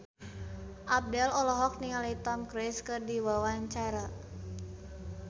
Abdel olohok ningali Tom Cruise keur diwawancara